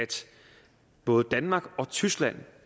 både danmark og tyskland